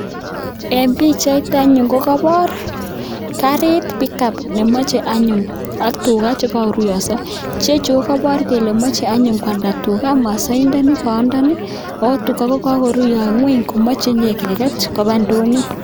En bichait anyun kokabar karit pikup anyun ak tuga chekaruyoiso ichechu kokabar anyu Kole mache kwalda tuga masaindani bayandani akotuga kokakoruyoiso ngweny komache keket Koba indonyo